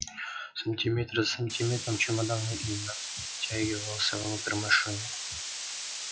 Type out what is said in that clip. сантиметр за сантиметром чемодан медленно втягивался внутрь машины